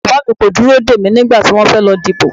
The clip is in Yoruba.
Bàbá mi kò dúró dè mí nígbà tí wọ́n fẹ́ lọ dìbò